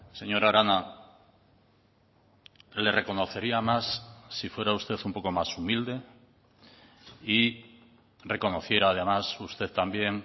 señora arana le reconocería más si fuera usted un poco más humilde y reconociera además usted también